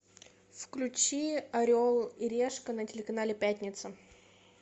включи орел и решка на телеканале пятница